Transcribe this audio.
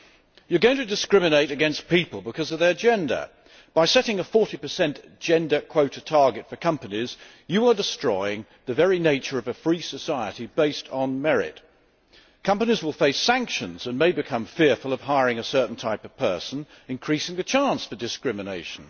One is going to discriminate against people because of their gender. By setting a 40 gender quota target for companies, we are destroying the very nature of a free society based on merit. Companies will face sanctions and may become fearful of hiring a certain type of person, thus increasing the chances of discrimination.